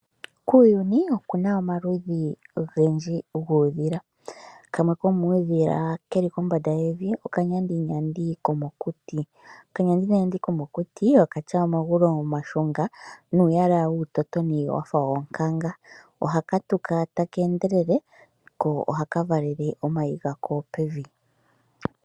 Kuuyuni oku na omaludhi ogendji uudhila, kamwe komuudhila oko okanyandinyandi komokuti, okena omagulu omashunga nuuyala wuutotoni wafa wonkanka, ohakatuka taka endelele ko ohaka valele omayi pevi.